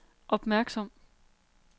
opmærksom